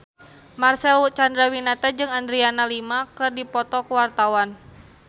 Marcel Chandrawinata jeung Adriana Lima keur dipoto ku wartawan